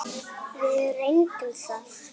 Við reyndum það.